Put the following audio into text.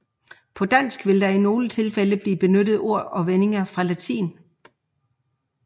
På dansk vil der i nogle tilfælde blive benyttet ord og vendinger fra latin